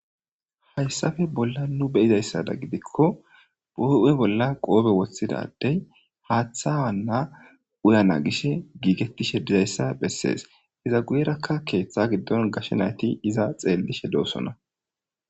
hayssafe bolla nu beyizayssada gidikko boo7e bolla qoobe woththidadey haaththa wanna uyana gish giigettishe dizayssa bessees iza guyerakka keeththa giddon gashe nayti iza xeellishe doosona